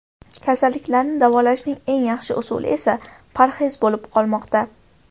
Kasallikni davolashning eng yaxshi usuli esa parhez bo‘lib qolmoqda.